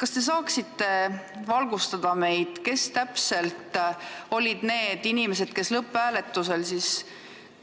Kas te saaksite meid valgustada, kes täpselt olid need inimesed, kes lõpphääletusel